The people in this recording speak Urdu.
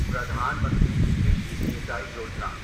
پردھان منتری کرشی سینچائی یوجنا